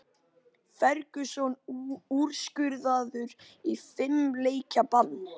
Ferguson úrskurðaður í fimm leikja bann